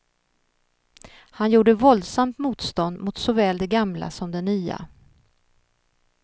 Han gjorde våldsamt motstånd mot såväl det gamla som det nya.